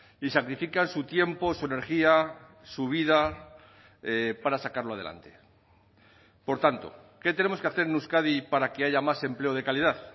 y sacrifican su tiempo su energía su vida para sacarlo adelante por tanto qué tenemos que hacer en euskadi para que haya más empleo de calidad